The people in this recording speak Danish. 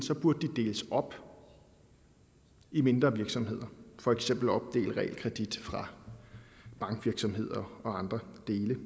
burde de deles op i mindre virksomheder for eksempel opdele realkredit fra bankvirksomhed og andre dele